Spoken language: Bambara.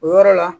O yɔrɔ la